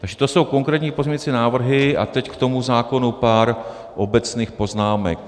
Takže to jsou konkrétní pozměňovací návrhy a teď k tomu zákonu pár obecných poznámek.